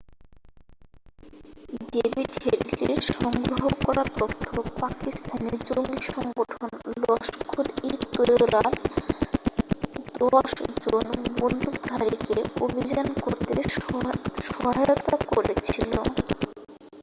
David হেডলির সংগ্রহ করা তথ্য পাকিস্তানি জঙ্গি সংগঠন লস্কর-ই-তৈয়বার 10 জন বন্দুকধারীকে অভিযান করতে সহায়তা করেছিল